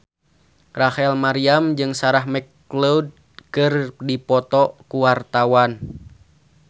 Rachel Maryam jeung Sarah McLeod keur dipoto ku wartawan